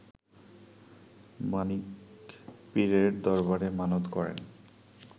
মানিক পীরের দরবারে মানত করেন